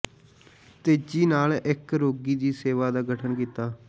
ਤੇਜ਼ੀ ਨਾਲ ਇੱਕ ਰੋਗੀ ਦੀ ਸੇਵਾ ਦਾ ਗਠਨ ਕੀਤਾ